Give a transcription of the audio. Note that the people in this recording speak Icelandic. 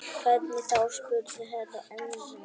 Hvernig þá spurði Herra Enzana.